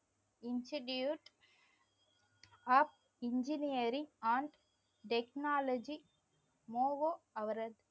institute of engineering and technology